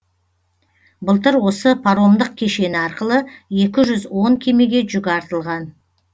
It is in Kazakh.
былтыр осы паромдық кешені арқылы екі жүз он кемеге жүк артылған